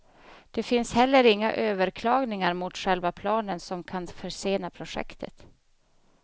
Det finns heller inga överklagningar mot själva planen som kan försena projektet.